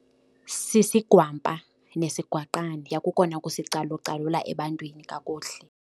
Sisigwampa nesigwaqana kukona kusicalucalula ebantwini kakuhle.